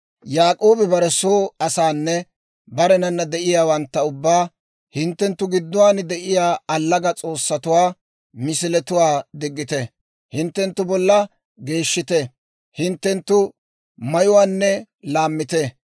Yaak'oobi bare soo asaanne barenana de'iyaawantta ubbaa, «hinttenttu gidduwaan de'iyaa allaga S'oossatuwaa misiletuwaa diggite; hinttenttu bollaa geeshshite; hinttenttu mayuwaanne laammite.